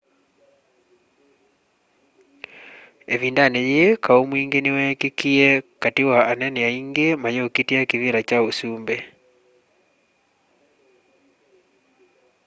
ivindani yii kau mwingi niweekikie kati wa anene aingi mayukitia kivila kya usumbi